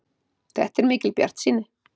Þetta er mikil bjartsýni.